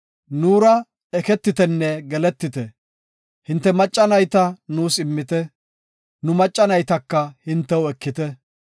Nuura eketitenne geletite, hinte macca nayta nuus immite, nu macca naytaka hintew ekite.